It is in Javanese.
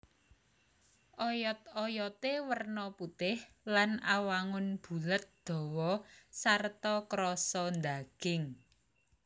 Oyot oyoté werna putih lan awangun bulet dawa sarta krasa ndaging